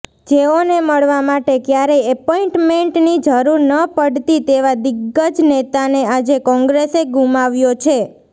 જેઓને મળવા માટે ક્યારેય એપોઈન્ટમેન્ટની જરૂર ન પડતી તેવા દિગ્ગજ નેતાને આજે કોંગ્રેસે ગુમાવ્યા છે